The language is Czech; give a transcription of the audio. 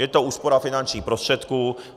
Je to úspora finančních prostředků.